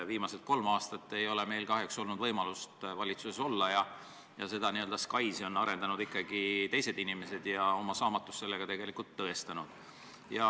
Viimased kolm aastat ei ole meil kahjuks olnud võimalust valitsuses olla, SKAIS-i on arendanud ikkagi teised inimesed ja oma saamatust sellega tõestanud.